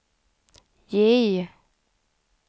J